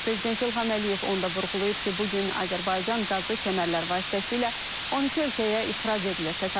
Prezident İlham Əliyev onda vurğulayıb ki, bu gün Azərbaycan qazı kəmərlər vasitəsilə 12 ölkəyə ixrac edilir.